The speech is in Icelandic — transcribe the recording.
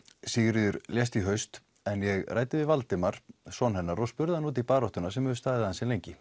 Sigríður lést í haust en ég ræddi við Valdimar og spurði hann út í baráttuna sem hefur staðið ansi lengi